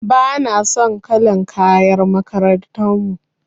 Bana son kalar kayan makarantar mu.